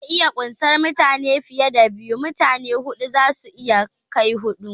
Zai iya kunsar mutane fiye da biyu, mutane huɗu zasu iya kai huɗu